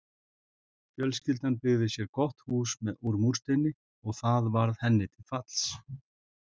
Fjölskyldan byggði sér gott hús úr múrsteini og það varð henni til falls.